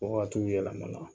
Ko ka t'u yɛlɛn a nɔn la.